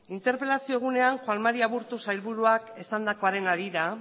interpelazio egunean juan mari aburto sailburuak esandakoaren harira